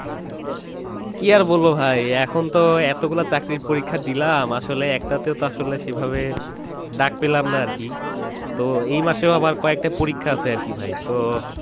কী আর বলবো ভাই, এখন তো এতগুলা চাকরির পরীক্ষা দিলাম আসলে একটাতেও আসলে সেভাবে ডাক পেলাম না আরকি, তো এই মাসেও আবার কয়েকটা পরীক্ষা আছে আরকি ভাই